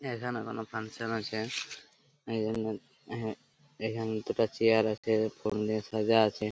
এখানে কোন ফাংশন আছে। এইজন্যে আহ এইখানে দুটা চেয়ার আছে ফুল দিয়ে সাজা আছে।